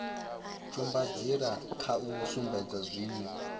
tsumbanḓila kha u sumbedza zwine